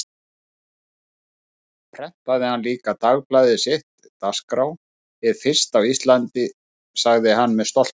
Þar prentaði hann líka dagblaðið sitt, Dagskrá, hið fyrsta á Íslandi, sagði hann með stolti.